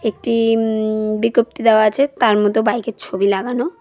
একটি উম বিজ্ঞপ্তি দেওয়া আছে তার মধ্যে বাইকের ছবি লাগানো।